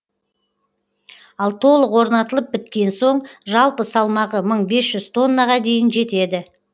ал толық орнатылып біткен соң жалпы салмағы мың бес жүз тоннаға дейін жетеді